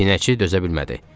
Pinəçi dözə bilmədi.